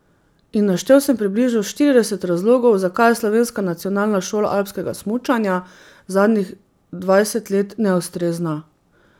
In naštel sem približno štirideset razlogov, zakaj je slovenska nacionalna šola alpskega smučanja zadnjih dvajset let neustrezna.